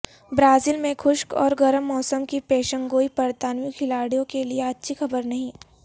Brazil میں خشک اور گرم موسم کی پیشنگوئی برطانوی کھلاڑیوں کے لیے اچھی خبر نہیں